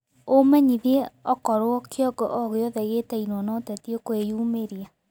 umenyĩthĩe ũkorwo kĩongo o giothe giitainio na uteti ukiyumiria